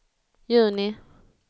juni